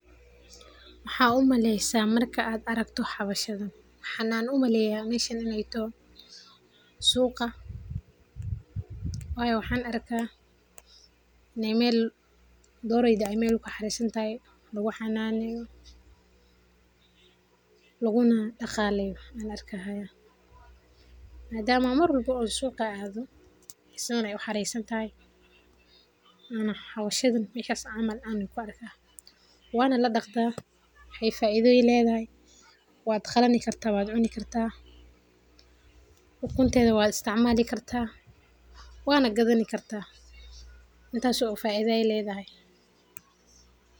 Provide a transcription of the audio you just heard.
Maxa u kaleysah marka AA aragtoh xawashadan xananoyeen waxa u maleyah meshan Ina tahoo suuqa wayo waxa arkah, meel doreyda kuxaresantahoo lagu xananeyoh laguka na daqaleyoh an arkahaya, madama marwalbo oo suqa aathoh san Aya u xaresantahay xawashadan sethasi caml Wana ladaqtah, waxay faitha Aya leedahay, watqalini kartah watcuni kartah, ukuntetha wa isticmali kartah, wanagathani kartah, intaasi faitha Aya leedahay.